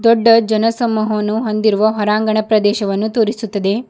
ದೊಡ್ಡ ಜನಸಮೂಹವನ್ನು ಹೊಂದಿರುವ ಹೊರಾಂಗಣ ಪ್ರದೇಶವನ್ನು ತೋರಿಸುತ್ತದೆ.